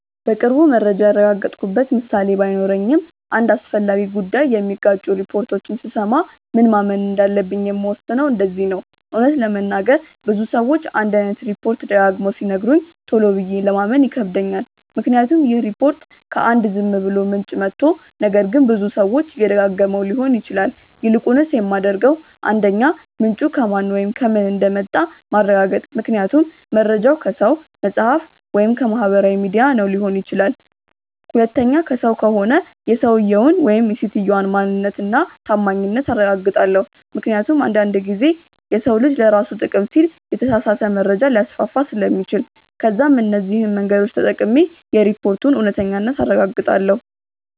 በቅርቡ መረጃ ያረጋገጥኩበት ምሳሌ ባይኖረኝም አንድ አስፈላጊ ጉዳይ የሚጋጩ ሪፖርቶችን ስሰማ ምን ማመን እንዳለብኝ የምወስነው እንደዚህ ነው :- እውነት ለመናገር ብዙ ሰዎች አንድ አይነት ሪፖችት ደጋግመው ሲነግሩኝ ቶሎ ብዬ ለማመን ይከብደኛል ምክንያቱም ይህ ሪፖርት ከ አንድ ዝም ብሎ ምንጭ መቶ ነገር ግን ብዙ ሰዎች እየደጋገመው ሊሆን ይችላል። ይልቁንስ የማደርገው 1. ምንጩ ከማን ወይም ከምን እንደመጣ ማረጋገጥ ምክንያቱም መርጃው ከሰው፣ መፅሐፍ ወይም ከማህበራዊ ሚዲያ ነው ሊሆን ይችላል። 2. ከሰው ከሆነ የሰውየውን/ የሰትየዋን ማንነት እና ታማኝነት አረጋግጣለው ምክንያቱም አንድ አንድ ጊዜ የሰው ልጅ ለራሱ ጥቅም ሲል የተሳሳተ መረጃ ሊያስፋፋ ስለሚችል። ከዛም እነዚህ መንገዶች ተጠቅሜ የሪፖርቱን እውነተኛነት አረጋግጣለው።